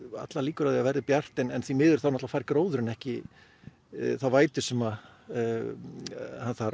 allar líkur á að það verði bjart en því miður fær gróðurinn ekki þá vætuna sem hann þarf